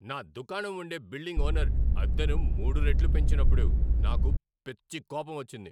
నా దుకాణం ఉండే బిల్డింగ్ ఓనర్ అద్దెను మూడు రెట్లు పెంచినప్పుడు నాకు పిచ్చి కోపమొచ్చింది.